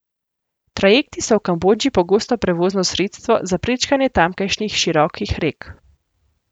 Trajekti so v Kambodži pogosto prevozno sredstvo za prečkanje tamkajšnjih širokih rek.